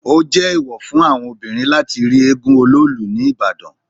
Ó jé èwọ̀ fún àwọn obìnrin láti rí éégún Ọlóòlù ní Ìbàdàn.